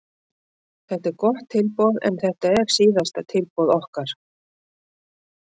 Þetta er gott tilboð en þetta er síðasta tilboð okkar.